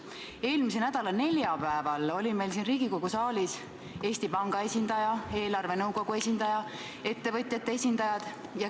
Eelmise nädala neljapäeval olid meil siin Riigikogu saalis Eesti Panga esindaja, eelarvenõukogu esindaja ja ettevõtjate esindajad.